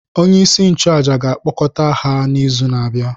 Onyeisi nchụàjà ga-akpọkọta ha n’izu na-abịa.